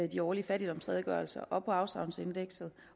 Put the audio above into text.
de årlige fattigdomsredegørelser og på afsavnsindekset